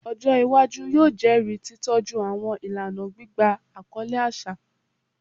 Ọjọ iwaju yoo jẹri titọju awọn ilana gbigba akọle aṣa